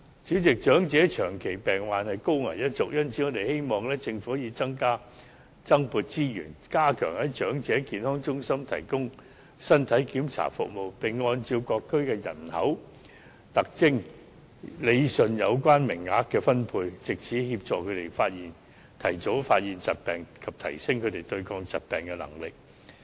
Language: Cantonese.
主席，長者屬長期病患的高危一族，因此我們希望政府可以增撥資源，加強在長者健康中心提供身體檢查服務，並按照各區的人口特徵，理順有關名額的分配，藉此協助他們提早發現疾病，以及提升他們對抗疾病的能力。